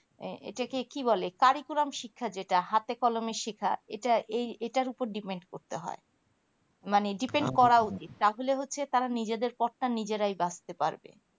এ মানে এটাকে কি বলে পরিপুরম শিক্ষা যেটা হাতে কলমে শেখা এটা এই এটাই ওপরে depend করতে হয় মানে depend করে উচিত তাহলে হচ্ছে তারা নিজেদের কর্তা নিজেরাই বাঁচতে পারবে